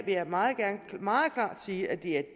vil jeg meget klart sige at det er det